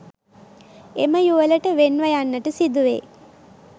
එම යුවළට වෙන්ව යන්නට සිදුවේ.